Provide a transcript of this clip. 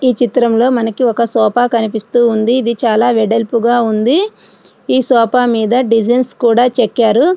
ఈ చిత్రంలో మనకి ఒక సోఫా అనేది కనిపిస్తూ ఉంది. ఇది చాలా వెడల్పుగా ఉంది. ఈ సోఫా మీద డిజైన్స్ చెక్కింది.